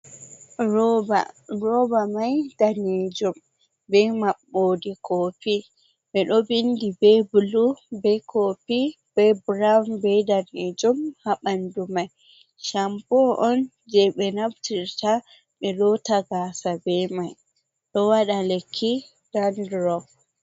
Roba mai danejum be maɓɓode kopi ɓe ɗo bindi be blu be kopi be brown be danejum ha ɓandu mai. Shampoo on je ɓe naftirta ɓe lota gasa be mai ɗo waɗa lekki dandurop.